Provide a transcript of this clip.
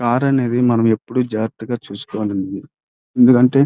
car అంటే మనం ఎప్పుడు జాగ్రత్తగా చూసుకోవాలి ఎందుకంట్టే --